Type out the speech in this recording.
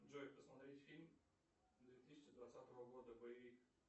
джой посмотреть фильм две тысячи двадцатого года боевик